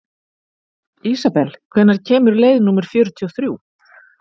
Isabel, hvenær kemur leið númer fjörutíu og þrjú?